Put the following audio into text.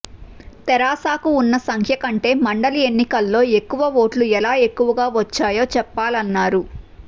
తెరాసకు ఉన్న సంఖ్య కంటే మండలి ఎన్నికల్లో ఎక్కువ ఓట్లు ఎలా ఎక్కువగా వచ్చాయో చెప్పాలన్నారు